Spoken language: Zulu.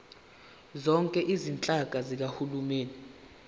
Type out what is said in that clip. zonke izinhlaka zikahulumeni